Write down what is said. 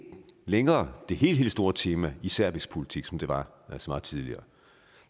længere det helt helt store tema i serbisk politik som det var så meget tidligere